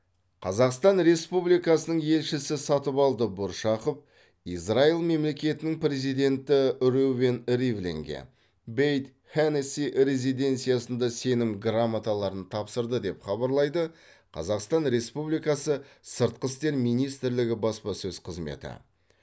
қазақстан республикасының елшісі сатыбалды бұршақов израиль мемлекетінің президенті реувен ривлинге бэйт хеннеси резиденциясында сенім грамоталарын тапсырды деп хабарлайды қазақстан республикасы сыртқы істер министрлігі баспасөз қызметі